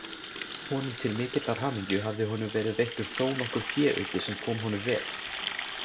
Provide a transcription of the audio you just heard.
Honum til mikillar hamingju hafði honum verið veittur þónokkur féauki sem kom honum vel.